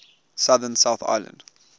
southern south island